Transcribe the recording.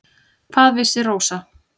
Hvað vissi Rósa.